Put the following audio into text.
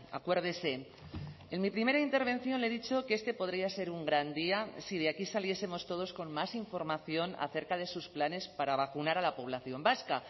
acuérdese en mi primera intervención le he dicho que este podría ser un gran día si de aquí saliesemos todos con más información acerca de sus planes para vacunar a la población vasca